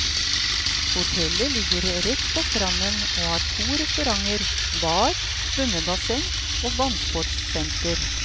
Hotellet ligger rett på stranden og har to restauranter, bar, svømmebasseng og vannsportsenter.